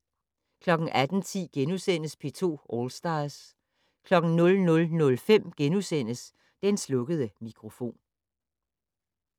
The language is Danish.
18:10: P2 All Stars * 00:05: Den slukkede mikrofon *